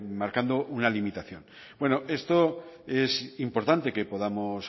marcando una limitación bueno esto es importante que podamos